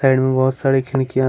side में बहुत सारे खिड़कियां--